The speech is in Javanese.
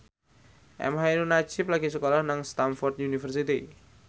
emha ainun nadjib lagi sekolah nang Stamford University